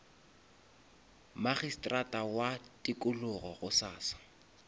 magistrata wa tikologo gosasa